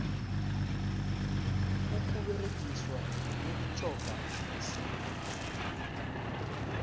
ukuberegiswa kwemitjhoga yesintu